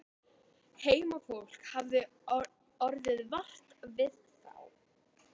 Heimafólk hafði orðið vart við þá.